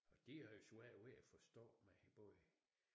Og de havde svært ved at forstå mig både